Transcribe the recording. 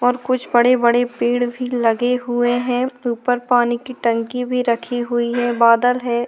और कुछ बड़े - बड़े पेड़ भी लगे हुए है ऊपर पानी की टंकी भी रखी हुई है बादल है।